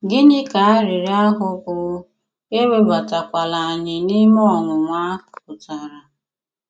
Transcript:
Gịnị ka arịrịọ ahụ bụ́ “ Ewebatakwala anyị n’ime ọnwụnwa ” pụtara?